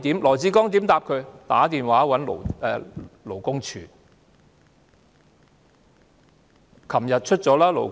羅致光建議她打電話向勞工處求助。